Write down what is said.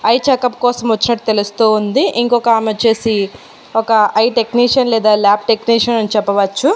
I checkup కోసం వచ్చినట్టు తెలుస్తూ ఉంది ఇంకొకామె వొచ్చేసి ఒక ఐ టెక్నీషియన్ లేదా ల్యాబ్ టెక్నీషియన్ అని చెప్పవచ్చు.